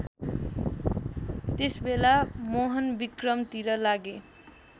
त्यसबेला मोहनविक्रमतिर लागे